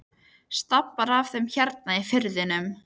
Staflar af þeim hérna í firðinum.